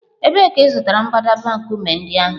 Ebee ka ị zụtara mbadamba nkume ndị ahụ?